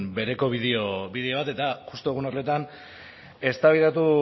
bideo bat eta justu egun horretan eztabaidatu